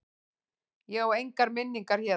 Ég á engar minningar héðan.